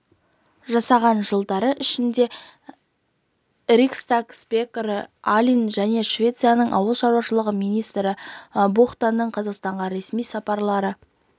жасаған жылдары ішінде риксдаг спикері алин мен швецияның ауыл шаруашылығы министрі бухтаның қазақстанға ресми сапарлары